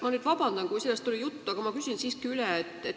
Ma palun vabandust, kui sellest oli juttu, aga ma küsin siiski üle.